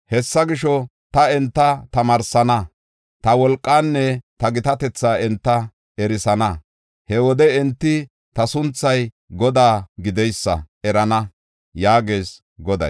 “Hessa gisho, ta enta tamaarsana; ta wolqaanne ta gitatetha enta erisana. He wode enti ta sunthay Godaa gideysa erana” yaagees Goday.